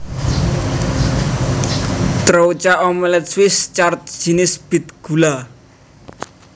Troucha omelet Swiss Chard jinis bit gula